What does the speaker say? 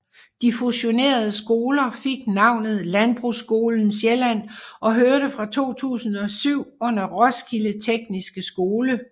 De fusionerede skoler fik navnet Landbrugsskolen Sjælland og hørte fra 2007 under Roskilde Tekniske Skole